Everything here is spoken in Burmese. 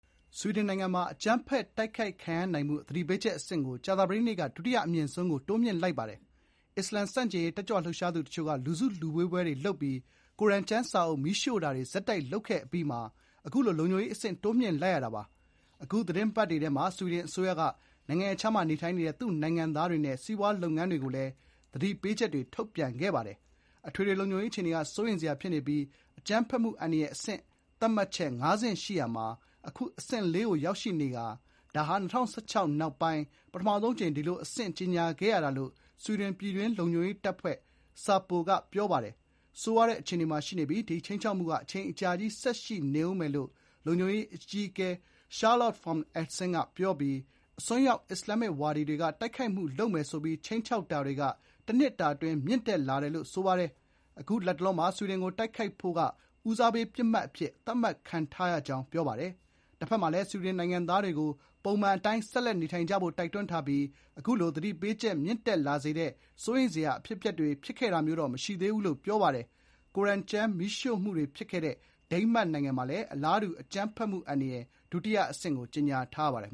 ဆွီဒင်နိုင်ငံမှာ အကြမ်းဖက်တိုက်ခိုက်ခံရနိုင်မှု သတိပေးချက်အဆင့်ကို ကြာသပတေးနေ့က ဒုတိယအမြင့်ဆုံးကို တိုးမြှင့်လိုက်ပါတယ်။ အစ္စလာမ် ဆန့်ကျင်ရေး တက်ကြွလှုပ်ရှားသူတချို့က လူထုစုဝေးပွဲတွေလုပ်ပြီး ကိုရ်အာန်ကျမ်းစာအုပ်မီးရှို့တာတွေ ဆက်တိုက်လုပ်ခဲ့အပြီးမှာ အခုလို လုံခြုံရေးအဆင့် တိုးမြှင့်လိုက်ရတာပါ။ အခု သီတင်းပတ်တွေထဲမှာ ဆွီဒင်အစိုးရက နိုင်ငံရပ်ခြားမှာ နေထိုင်တဲ့ သူ့နိုင်ငံသားတွေနဲ့ စီးပွားရေးလုပ်ငန်းတွေကို သတိပေးချက်တွေလည်း ထုတ်ပြန်ခဲ့ပါတယ်။ အထွေအထွေ လုံခြုံရေး အခြေအနေက စိုးရိမ်းစရာဖြစ်နေပြီး အကြမ်းဖက်မှုအန္တရာယ်အဆင့် သတ်မှတ်ချက် (၅) ဆင့် ရှိရာမှာ အခု အဆင့် (၄) ကို ရောက်ရှိနေကာ ဒါဟာ ၂၀၁၆ နောက်မှာ ပထမဆုံးအကြိမ် ဒီလို အဆင့် ကြေညာခဲ့ရတာလို့ ဆွီဒင်ပြည်တွင်းလုံခြုံရေးတပ်ဖွဲ့ (SAPO) က ပြောပါတယ်။ "ဆိုးရွားတဲ့အခြေအနေမှာရှိနေပြီး ဒီခြိမ်းခြောက်မှုက အချိန်အကြာကြီး ဆက်ရှိနေဦးမယ်" လို့ SAPO အကြီးအကဲ Charlotte von Essen က ပြောပြီး "အစွန်းရောက် အစ္စလာမစ်ဝါဒီတွေက တိုက်ခိုက်မှုလုပ်မယ်ဆိုပြီး ခြိမ်းခြောက်တာတွေက တနှစ်တာအတွင်း မြင့်တက်လာတယ်" လို့ ဆိုပါတယ်။ အခု လတ်တလောမှာ ဆွီဒင်ကိုတိုက်ခိုက်ဖို့က “ဦးစားပေးပစ်မှတ်” အဖြစ်သတ်မှတ်ခံထားရကြောင်း လုံခြုံရေးတပ်ဖွဲ့အကြီးအကဲက ပြောပါတယ်။ တဘက်မှာလည်း ဆွီဒင်နိုင်ငံသားတွေကို ပုံမှန်အတိုင်း ဆက်လက်နေထိုင်ကြဖို့ တိုက်တွန်းထားပြီး အခုလို သတိပေးချက်မြင့်တက်လာစေတဲ့ စိုးရိမ်စရာ အဖြစ်အပျက်တွေ ဖြစ်ခဲ့တာမျိုးတော့မရှိသေးဘူးလို့ ပြောပါတယ်။ ကိုရ်အာန်ကျမ်းမီးရှို့မှုတွေဖြစ်ခဲ့တဲ့ ဒိန်းမတ်နိုင်ငံမှာလည်း အလားတူ အကြမ်းဖက်မှုအန္တရာယ် ဒုတိယအဆင့်ကြေညာထားပါတယ်